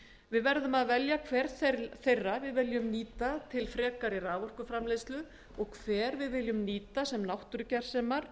við verðum að velja hver þeirra við viljum nota til frekari raforkuframleiðslu og hver við viljum vernda sem náttúrugersemar